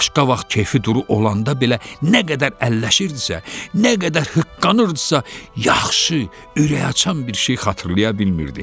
Başqa vaxt keyfi duru olanda belə nə qədər əlləşirdisə, nə qədər hıqqanırdısa, yaxşı, ürək açan bir şey xatırlaya bilmirdi.